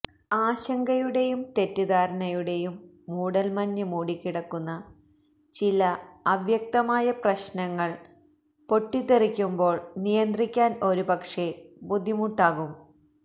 ആശങ്കയുടെയും തെറ്റിദ്ധാരണയുടെയും മൂടല്മഞ്ഞ് മൂടിക്കിടക്കുന്ന ചില അവ്യക്തമായ പ്രശ്നങ്ങള് പൊട്ടിത്തെറിക്കുമ്പോള് നിയന്ത്രിക്കാന് ഒരുപക്ഷേ ബുദ്ധിമുട്ടുണ്ടാകും